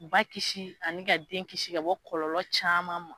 Ba kisi ani ka den kisi ka bɔ kɔlɔlɔ caman ma.